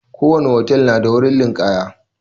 ko wani hotel na da waha.